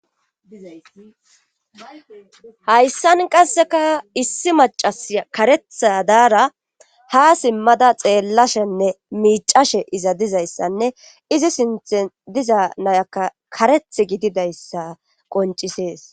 Hayssan qasseka issi macas karetha daara ha simmada xeellashenne miicashe iza dizayssanne izi sinth diza nayaka kareth gididayssa qoncisees.